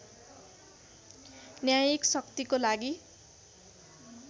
न्यायिक शक्तिको लागि